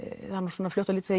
svona fljótt á litið